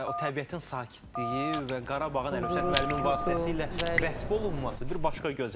Və o təbiətin sakitliyi və Qarabağın Əlövsət müəllimin vasitəsilə vəsf olunması bir başqa gözəldir.